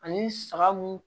Ani saga mun